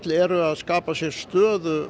eru að skapa sér stöðu